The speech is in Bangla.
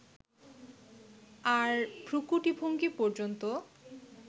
আর ভ্রূকুটিভঙ্গি পর্যন্ত